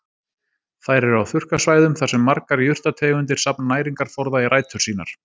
Þær eru á þurrkasvæðum þar sem margar jurtategundir safna næringarforða í rætur sínar.